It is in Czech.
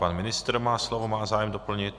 Pan ministr má slovo, má zájem doplnit.